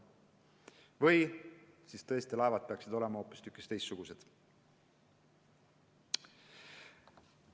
Või siis peaksid laevad olema hoopistükkis teistsugused.